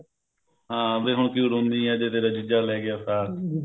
ਹਾਂ ਵੀ ਹੁਣ ਕਿਉਂ ਰੋਨੀ ਆ ਜੇ ਤੇਰਾ ਜੀਜਾ ਲੈ ਗਿਆ ਸਾਕ